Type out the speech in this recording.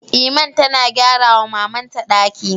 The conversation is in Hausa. Iman tana gyara wa maman ta ɗaki